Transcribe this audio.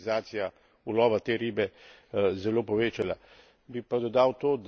Tudi glede na to, da se je komercializacija ulova te ribe zelo povečala.